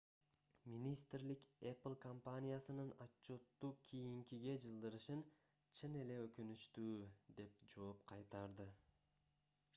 министрлик apple компаниясынын отчётту кийинкиге жылдырышын чын эле өкүнүчтүү деп жооп кайтарды